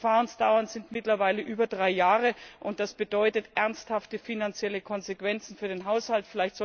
Die Verfahrensdauern sind mittlerweile über drei Jahre, und das bedeutet ernsthafte finanzielle Konsequenzen für den Haushalt.